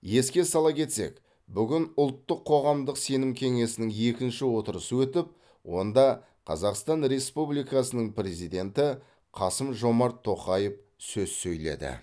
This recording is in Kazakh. еске сала кетсек бүгін ұлттық қоғамдық сенім кеңесінің екінші отырысы өтіп онда қазақстан республикасының президенті қасым жомарт тоқаев сөз сөйледі